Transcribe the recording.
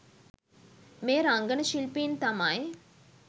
මේ රංගන ශිල්පීන් තමයි.